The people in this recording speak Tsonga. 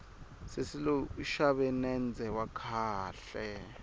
sesi loyi u xave nendze wa kahle